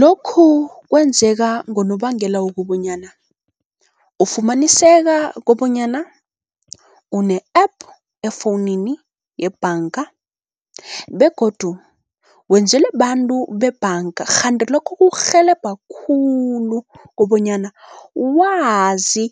Lokhu kwenzeka ngonobangela wokobonyana, ufumaniseka kobonyana une-app efowunini yebhanga begodu wenzelwe bantu bebhanga. Kghanti lokhu kukurhelebha khulu kobonyana wazi